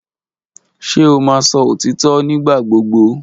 Ṣe o maán sọ otitọ nigbagbogbo?